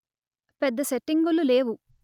పెద్ద సెట్టింగులు లేవు